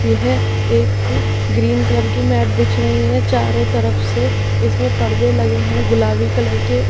यह एक green colour की मैट बिछ रही है चारों तरफ से इसमें परदे लगे हैं गुलाबी कलर के उ--